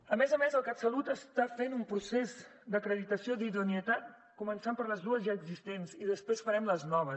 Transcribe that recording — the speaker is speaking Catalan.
a més a més el catsalut està fent un procés d’acreditació d’idoneïtat començant pels dos ja existents i després farem els nous